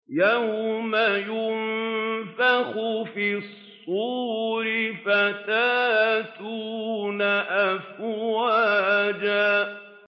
يَوْمَ يُنفَخُ فِي الصُّورِ فَتَأْتُونَ أَفْوَاجًا